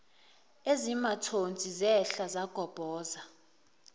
ezimathonsi zehla zagobhoza